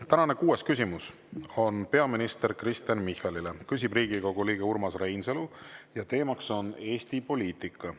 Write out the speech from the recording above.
Tänane kuues küsimus on peaminister Kristen Michalile, küsib Riigikogu liige Urmas Reinsalu ja teema on Eesti poliitika.